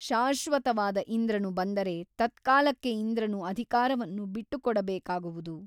ಶಾಶ್ವತವಾದ ಇಂದ್ರನು ಬಂದರೆ ತತ್ಕಾಲಕ್ಕೆ ಇಂದ್ರನು ಅಧಿಕಾರವನ್ನು ಬಿಟ್ಟುಕೊಡಬೇಕಾಗುವುದು.